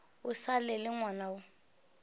o sa le ngwana o